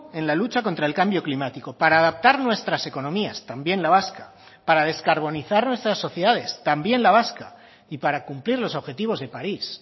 en la lucha contra el cambio climático para adaptar nuestras economías también la vasca para descarbonizar nuestras sociedades también la vasca y para cumplir los objetivos de parís